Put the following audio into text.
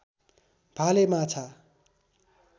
भाले माछा